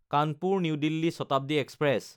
Kanpur New Delhi Shatabdi express